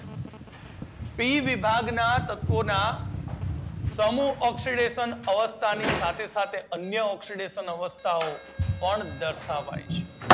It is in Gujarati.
પી વિભાગના તત્વો ના સમૂહ ઓક્સીડેશન અવસ્થા ની સાથે અન્ય ઓક્સીડેશન અવસ્થા પણ દર્શાવાય છે.